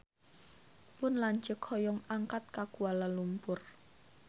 Pun lanceuk hoyong angkat ka Kuala Lumpur